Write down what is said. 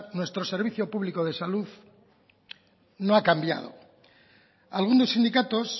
nuestro servicio público de salud no ha cambiado algunos sindicatos